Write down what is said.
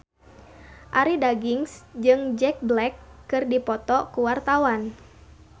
Arie Daginks jeung Jack Black keur dipoto ku wartawan